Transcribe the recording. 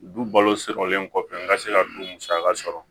Du balo sɔrɔlen kɔfɛ n ka se ka du musaka sɔrɔ